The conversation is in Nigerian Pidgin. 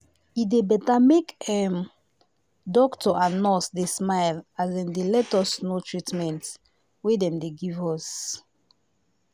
e dey better make um doctor and nurse dey smile as them they let us know treatment wey them dey give us.